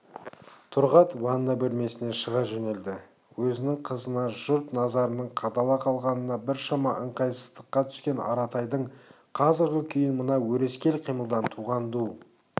тұрғат ванна бөлмесіне шыға жөнелді өзінің қызына жұрт назарының қадала қалғанынан біршама ыңғайсыздыққа түскен аратайдың қазіргі күйін мына өрескел қимылдан туған ду